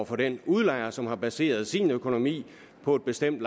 for den udlejer som har baseret sin økonomi på et bestemt